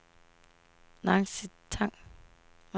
Nancy Tang